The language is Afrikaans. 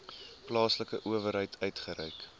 plaaslike owerheid uitgereik